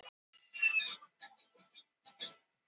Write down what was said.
hver voru algeng nöfn víkinga